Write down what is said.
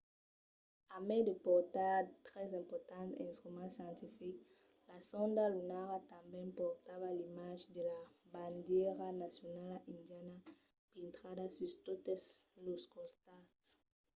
a mai de portar tres importants instruments scientifics la sonda lunara tanben portava l’imatge de la bandièra nacionala indiana pintrada sus totes los costats